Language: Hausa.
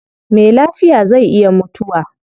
Me lafiya zai iya mutuwa